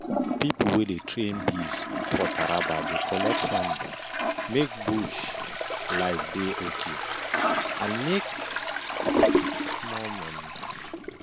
people wey dey train bees for taraba dey collect honey make bush life dey okay and still make small change.